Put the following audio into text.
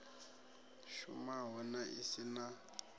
shumaho na i si na